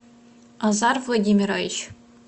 азар владимирович